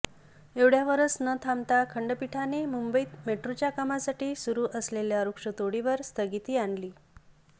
एवढय़ावरच न थांबता खंडपीठाने मुंबईत मेट्रोच्या कामासाठी सुरू असलेल्या वृक्षतोडीवर स्थगिती आणली